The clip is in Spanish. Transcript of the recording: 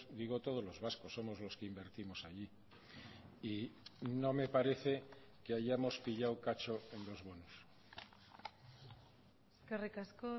digo todos los vascos somos los que invertimos allí y no me parece que hayamos pillado cacho en los bonos eskerrik asko